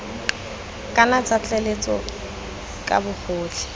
kana tsa tlaleletso ka bogotlhe